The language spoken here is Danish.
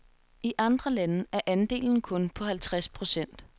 I andre lande er andelen kun på halvtreds procent.